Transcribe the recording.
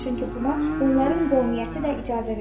Çünki buna onların qovmiyyəti də icazə verir.